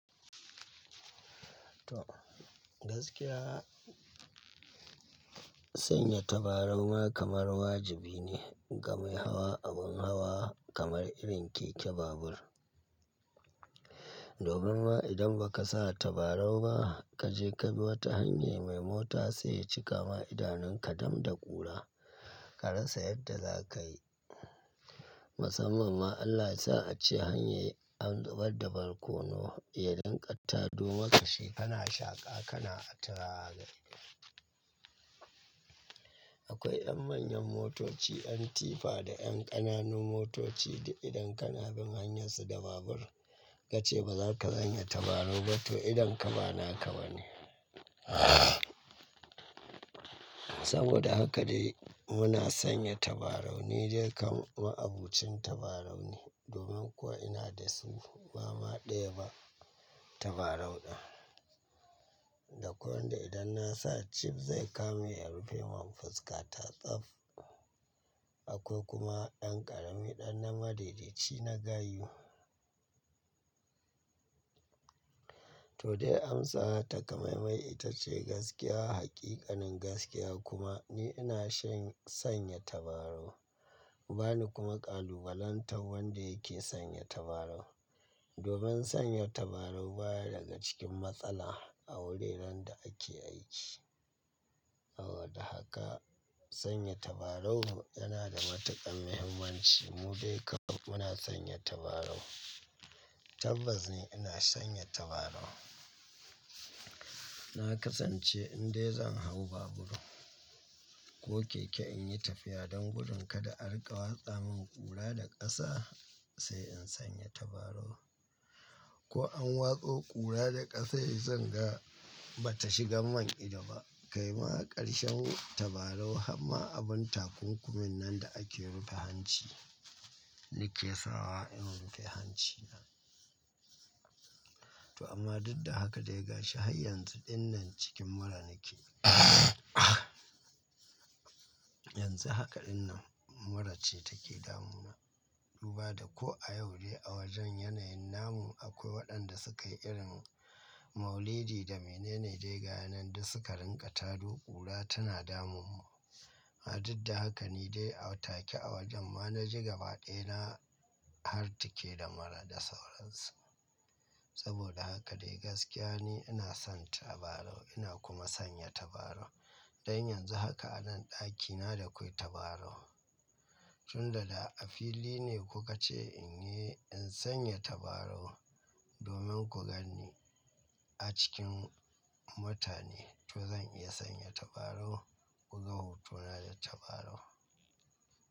To gaskiya sanya tabarau ma kamar wajibi ne ga mai hawa abun hawa kamar irin keke babur. Domin ma idan ba ka sa tabarau ba kaje ka bi wata hanya mai mota sai ya cika ma idanun ka dam da ƙura, ka rasa yadda za ka yi. Musamman ma Allah ya sa a ce hanyayen dabar dabar ko na iyalinkatta domin kashe kana shaƙa kana a tari. Akwai yan manyan motoci, yan tifa da yan ƙananun motoci da idan kana bin hanyarsu da babur, ka ce ba za ka sanya tabarau ba to idan ka ba naka ba ne. Saboda haka dai muna sanya tabarau ni dai kam ma'abocin tabarau ne domin kuwa ina da su ba ma ɗaya ba tabarau ɗin. Da kwai wanda idan na sa chip zai kame ya rufe man fuska ta tsaf. Akwai kuma ɗan ƙarami ɗan na madaidaci na gayu. To dai amsa takamaimai ita ce gaskiya, haƙiƙanin gaskiya kuma ni ina shan sanya tabarau. Ba ni kuma ƙalubalantar wanda yake sanya tabarau. Domin sanya tabarau baya daga cikin matsala a wuraren da ake aiki. Saboda haka sanya tabarau yana da matuƙan muhimmanci mu dai kam muna sanya tabarau. Tabbas ni ina sanya tabarau. Na kasance in dai zan hau babur ko keke in yi tafiya dan gudun kada a dunga watsa min ƙura da ƙasa sai in sanya tabarau. Ko an watso ƙura da ƙasa yi zan ga bata shiga man idan ba. Kai ma ƙarshen tabarau han ma abun takunkumin nan da ake rufe hanci ne ke sawa in rufe hancina. To amma duk da haka dai ga shi har yanzu ɗinnan cikin mura nake. Yanzu haka ɗinnan mura ce take damuna. Duba da ko a yau dai a wajen yanayin namun akwai waɗanda suka yi irin maulidi da mene ne dai ga yanayin da suka ringa tado ƙura tana damun mu. A duk da haka ni dai a take a wajen ma na ji gaba ɗaya na har take da mura da sauransu. Saboda haka dai gaskiya ne ina son tabarau ina kuma sanya tabarau. Dan yanzu haka a nan ɗakina da kawai tabarau. Tun da da a fili ne kuka ce in yi in sanya tabarau domin ku ganni a cikin mutane to zan iya sanya tabarau. Kunga hotona da tabarau.